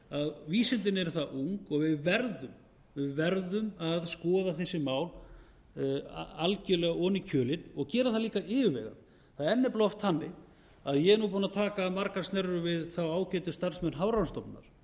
að vísindin eru það ung og við verðum að skoða þessi mál algjörlega ofan í kjölinn og gera það líka yfirvegað það er nefnilega oft þannig að ég er nú búin að taka margar snerrur við þá ágætu starfsmenn hafrannsóknastofnunar